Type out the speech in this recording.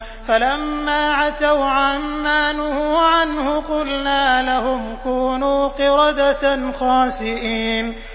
فَلَمَّا عَتَوْا عَن مَّا نُهُوا عَنْهُ قُلْنَا لَهُمْ كُونُوا قِرَدَةً خَاسِئِينَ